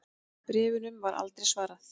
Bréfunum var aldrei svarað.